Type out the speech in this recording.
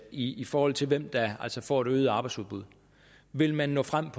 i i forhold til hvem der altså får et øget arbejdsudbud vil man nå frem